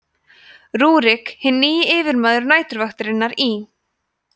rúrík hinn nýji yfirmaður næturvaktarinnar í